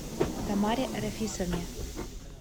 тамаре рафисовне